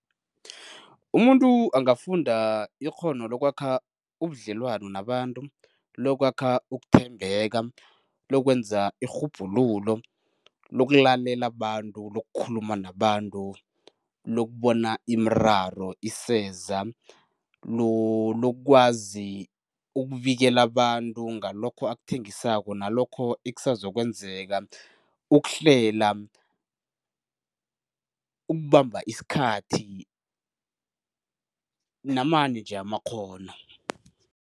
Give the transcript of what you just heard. Umuntu angafunda ikghono lokwakha ubudlelwano nabantu, lokwakha ukuthembeka, lokwenza irhubhululo, lokulalela abantu, lokukhuluma nabantu, lokubona imiraro iseza, lokwazi ukubikela abantu ngalokho akuthengisako nalokho ekusazokwenzeka, ukuhlela, ukubamba isikhathi namanye nje amakghono.